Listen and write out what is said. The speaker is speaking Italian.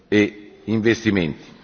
e investimenti.